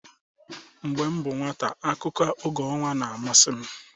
Mgbe m bụ nwata, akụkọ oge ọnwa na-amasị m.